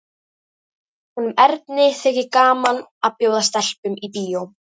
Honum Erni þykir gaman að bjóða stelpum í bíó.